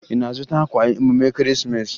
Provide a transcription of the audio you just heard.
Ị na-azụta akwa emume Ekeresimeesi?